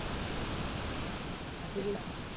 হ্যাঁ সেই আর কি